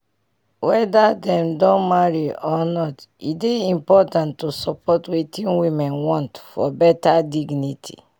weda dem don marry or not e dey important to support wetin women want for beta dignity